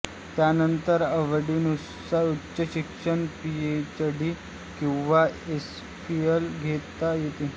त्यानंतर आवडीनुसार उच्च शिक्षण पीएचडी किंवा एमफील घेता येते